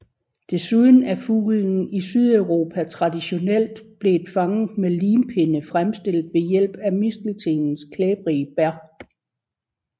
Desuden er fuglen i Sydeuropa traditionelt blevet fanget med limpinde fremstillet ved hjælp af misteltenens klæbrige bær